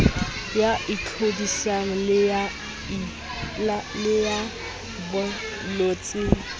ya tlhodisano le ya boinotshi